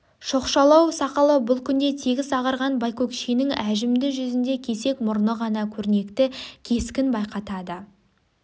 шоқшалау сақалы бұл күнде тегіс ағарған байкөкшенің әжімді жүзінде кесек мұрны ғана көрнекті кескін байқатады